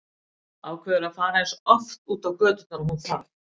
Ákveður að fara eins oft út á göturnar og hún þarf.